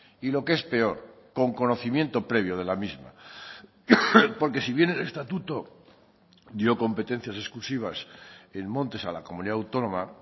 y lo que es peor con conocimiento previo de la misma porque si bien el estatuto dio competencias exclusivas en montes a la comunidad